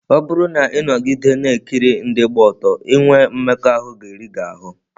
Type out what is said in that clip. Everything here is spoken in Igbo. Ọ bụrụ na ị nọgide na-ekiri ndị gba ọtọ, inwe mmekọahụ ga-eri gị ahụ́.